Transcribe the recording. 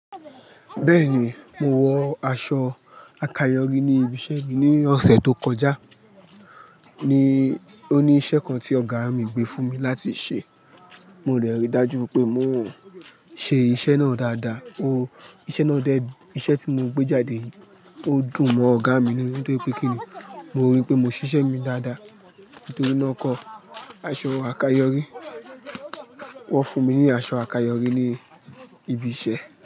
Bẹ́ẹ̀ni, mo wọ aṣọ àkayòrí ní ibi iṣẹ́ mi ní ọ̀sẹ̀ tó kọjá. Ni, ó ní iṣẹ́ kan tí ọ̀gá mi gbé fún mi láti ṣe. Mo dẹ rí dájú pé mò ń ṣe iṣẹ́ náà dáadáa. O, iṣẹ́ náà dẹ́ iṣẹ́ tí mo gbé jáde. O dùn mọ́ ọ̀gá mi nínú nítorí pé kíni mo rí pé mo ṣiṣẹ́ mi dáadáa. Nítorí náà ń kọ, aṣọ àkayòrí, wọ́n fún mi ní aṣọ àkayòrí ní ibi iṣẹ́